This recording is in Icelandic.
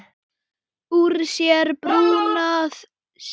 Úr sér brúna sjálfir gera.